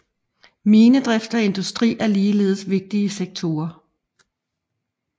Minedrift og industri er ligeledes vigtige sektorer